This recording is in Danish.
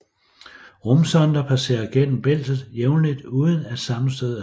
Rumsonder passerer gennem bæltet jævnligt uden at sammenstød er sket